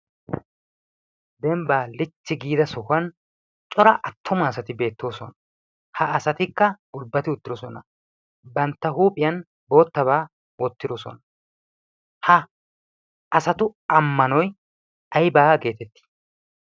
dembbaa lichchi giida sohuwan cora attoma asati beettoosona. ha asatikka aybbati uttidosona bantta huuphiyan boottabaa oottidosona ha asatu ammanoi aibaa geetettii?